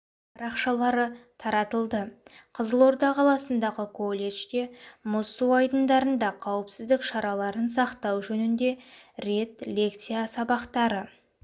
парақшалары таратылды қызылорда қаласындағы колледжде мұз су айдындарында қауіпсіздк шараларын сақтау жөнінде рет лекция абақтары